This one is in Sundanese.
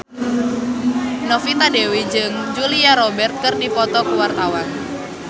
Novita Dewi jeung Julia Robert keur dipoto ku wartawan